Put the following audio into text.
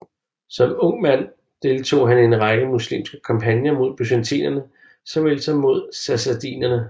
Som ung mand deltog han i en række muslimske kampagner mod byzantinerne såvel som mod sassaniderne